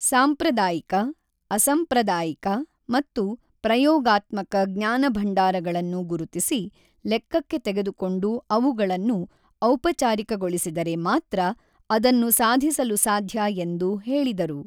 ಸಾಂಪ್ರದಾಯಿಕ, ಅಸಂಪ್ರದಾಯಿಕ ಮತ್ತು ಪ್ರಯೋಗಾತ್ಮಕ ಜ್ಞಾನಭಂಡಾರಗಳನ್ನು ಗುರುತಿಸಿ, ಲೆಕ್ಕಕ್ಕೆ ತೆಗೆದುಕೊಂಡು ಅವುಗಳನ್ನು ಔಪಚಾರಿಕಗೊಳಿಸಿದರೆ ಮಾತ್ರ ಅದನ್ನು ಸಾಧಿಸಲು ಸಾಧ್ಯ ಎಂದು ಹೇಳಿದರು.